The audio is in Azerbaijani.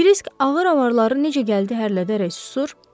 Krisk ağır avarları necə gəldi hərlədərək susur,